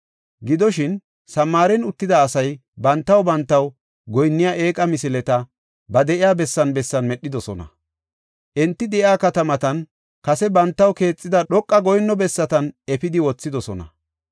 Gidoshin, Samaaren uttida asay bantaw bantaw goyinniya eeqa misileta ba de7iya bessan bessan medhidosona. Enti de7iya katamatan, kase bantaw keexida dhoqa goyinno bessatan efidi wothidosona.